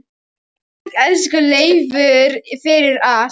Takk, elsku Leifur, fyrir allt.